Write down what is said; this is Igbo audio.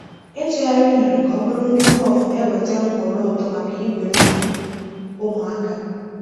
Ịtụgharị unere ka ọ bụrụ nri puff na-eweta nhọrọ ụtọ maka igbe nri ụmụaka.